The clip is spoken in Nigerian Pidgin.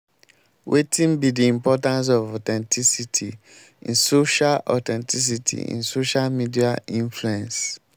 wetin be di importance of authenticity in social authenticity in social media influence?